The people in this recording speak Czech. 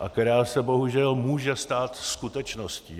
a která se bohužel může stát skutečností.